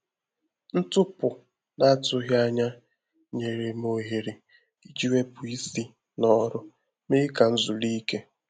Ntụpụ n’atụghị ànyà nyere m ohere iji wepụ isi n’ọrụ, mee ka m zuru íké.